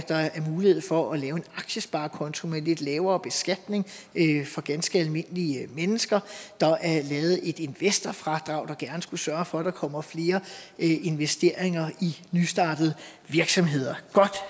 mulighed for at lave en aktiesparekonto med lidt lavere beskatning for ganske almindelige mennesker der er lavet et investorfradrag der gerne skulle sørge for at der kommer flere investeringer i nystartede virksomheder godt